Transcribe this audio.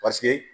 Paseke